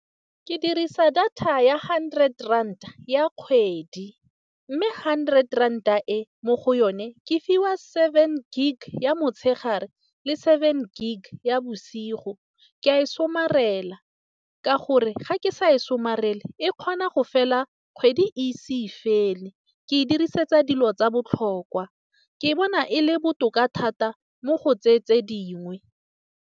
Ke dirisa data ya hundred ranta ya kgwedi, mme hundred ranta e mo go yone, ke fiwa seven gig ya motshegare le seven gig ya bosigo. Ka e somarela ka gore ga ke sa e somarele, e kgona go fela kgwedi e se fele ke e dirisetsa dilo tsa botlhokwa ke bona e le botoka thata mo go tseyeng tse dingwe.